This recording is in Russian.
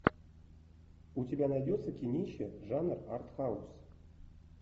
у тебя найдется кинище жанр арт хаус